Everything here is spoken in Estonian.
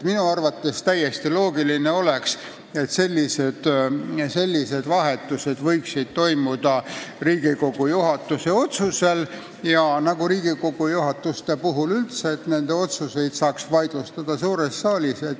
Minu arvates oleks täiesti loogiline, kui sellised vahetused toimuksid Riigikogu juhatuse otsusel ja neid saaks vaidlustada suures saalis.